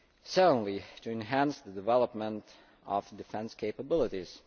Secondly, to enhance the development of defence capabilities.